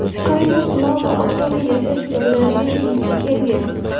Qaynoq lava aholi yashash joylarigacha yetib kelgan.